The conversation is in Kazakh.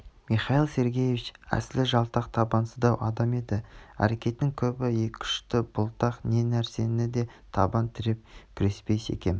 михаил сергеевич әсілі жалтақ табансыздау адам еді әрекетінің көбі екіұшты бұлтақ не нәрседе де табан тіреп күреспей секем